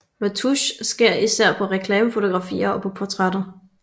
Retouche sker især på reklamefotografier og på portrætter